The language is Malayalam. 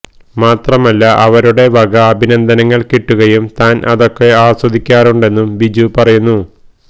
മാത്രമല്ല അവരുടെ വക അഭിനന്ദനങ്ങള് കിട്ടുകയും താന് അതൊക്കെ ആസ്വദിക്കാറുണ്ടെന്നും ബിജു പറയുന്നു